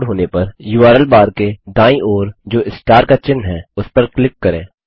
page load होने पर URL bar के दाईं ओर जो स्टार का चिन्ह है उस पर क्लिक करें